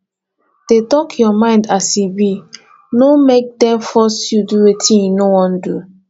dey talk your mind as e be no make dem force you do wetin you no won do